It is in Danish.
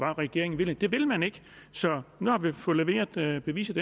regeringen ville det vil man ikke så nu har vi fået leveret det endelige bevis